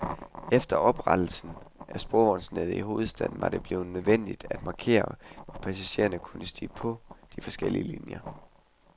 Efter oprettelsen af sporvognsnettet i hovedstaden var det blevet nødvendigt at markere, hvor passagererne kunne stige på de forskellige linjer.